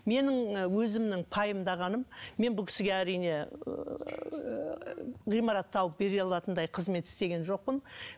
менің өзімнің пайымдағаным мен бұл кісіге әрине ғимаратты тауып бере алатындай қызмет істеген жоқпын